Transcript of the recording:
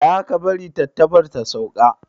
Tsaya, ka bari tantabar ta sauka